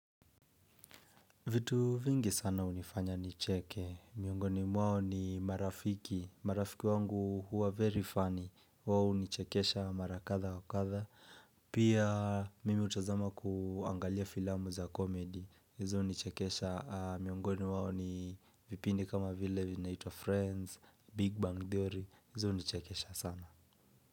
Vitu vingi sana hunifanya nicheke. Miongoni mwao ni marafiki. Marafiki wangu huwa very funny. Wao hunichekesha mara kadha wa kadha. Pia mimi hutazama kuangalia filamu za komedi. Hizo hunichekesha. Miongoni mwao ni vipindi kama vile vinaitwa Friends, Big Bang Theory. Hizu unichekesha sana.